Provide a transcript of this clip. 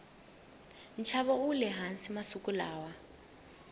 nxavo wule hansi masiku lawa